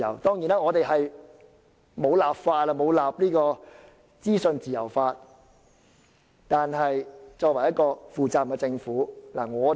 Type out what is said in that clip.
當然，本港並未訂立資訊自由法，但這是一個負責任的政府應做的事。